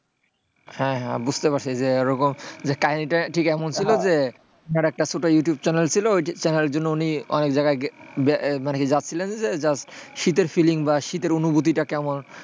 হ্যাঁ হ্যাঁ বুঝতে পারছি যে এরকম কাহিনীটা ঠিক এমন ছিল যে, ধরো একটা ছোট্ট ইউটিউব channel ছিল ইউটিউব channel ওই জন্য অনেক জায়গা যাচ্ছিলেন শীতের feeling বা শীতের অনুভূতি কেমন,